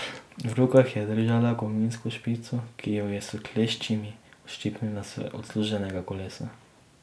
V rokah je držala kovinsko špico, ki jo je s kleščami odščipnila z odsluženega kolesa.